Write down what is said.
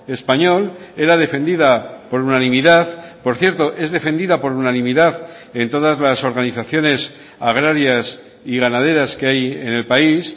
español era defendida por unanimidad por cierto es defendida por unanimidad en todas las organizaciones agrarias y ganaderas que hay en el país